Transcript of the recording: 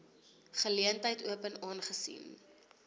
geleentheid open aangesien